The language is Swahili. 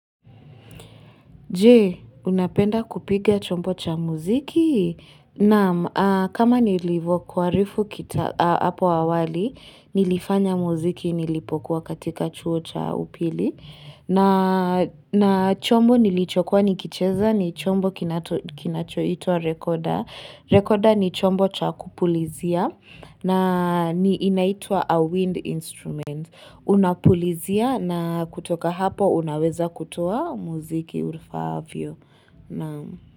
Jee, unapenda kupiga chombo cha muziki? Naam, kama nilivu kuarifu hapo awali, nilifanya muziki nilipokuwa katika chuo cha upili. Na chombo nilichokua nikicheza ni chombo kinacho ito wa rekoda. Rekoda ni chombo cha kupulizia na inaitua a wind instrument. Una pulizia na kutoka hapo unaweza kutoa muziki ufaavyo Naam.